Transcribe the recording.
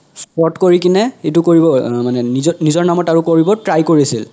spot কৰি কিনে ইতো কৰিব অহ মানে নিজৰ নিজৰ নামত কৰিব try কৰিছিল